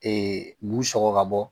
bu sɔgɔ ka bɔ